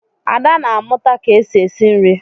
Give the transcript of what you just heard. Ada na amụta ka-esi esi nri.